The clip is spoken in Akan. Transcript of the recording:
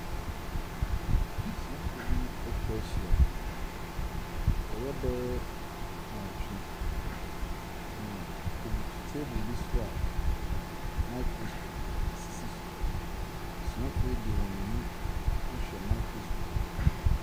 Adesuafoɔ bi ɛtwahyia. Wɔyɛ bɛ yɛ nwɔtwe na wɔbutu table bi soa microscope esisi so. Adesuafoɔ yi de wɔn ani ahwɛ microscope yi mu.